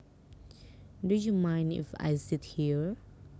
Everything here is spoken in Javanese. Do you mind if I sit here